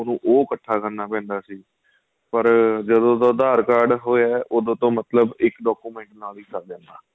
ਉਹਨੂੰ ਉਹ ਇੱਕਠਾ ਕਰਨਾ ਪੈਂਦਾ ਸੀ ਪਰ ਜਦੋਂ ਦਾ aadhar card ਹੋਇਆ ਹੈ ਉਹਦੋ ਤੋ ਮਤਲਬ ਇੱਕ document ਨਾਲ ਹੀ ਸਰ ਜਾਂਦਾ